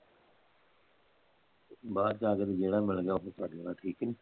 ਬਾਹਰ ਜਾਂ ਕੇ ਤੇ ਜਿਹੜਾ ਮਿਲ ਗਿਆ ਓਹੀ ਫੜ ਲੈਣ ਠੀਕ ਨੀ